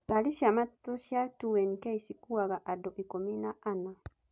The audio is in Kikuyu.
Ngari cia matatu cia 2nk cikuaga andũ ikũmi na ana.